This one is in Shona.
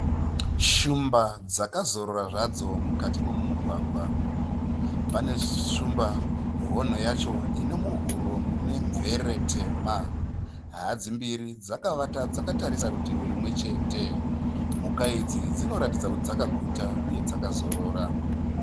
Shumba dzakazorora zvadzo mukati momumugwagwa. Pane shumba hono yacho ino muhuro mune mvere tema. Hadzi mbiri dzakavata dzakatarisa rutivi rumwe chete. Mhuka idzi dzinoratidza kuti dzakaguta uye dzakazorora.